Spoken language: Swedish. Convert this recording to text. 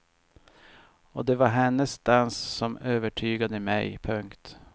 Och det var hennes dans som övertygade mig. punkt